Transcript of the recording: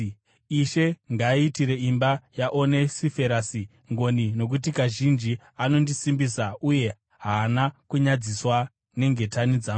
Ishe ngaaitire imba yaOnesiferasi ngoni, nokuti kazhinji anondisimbisa uye haana kunyadziswa nengetani dzangu.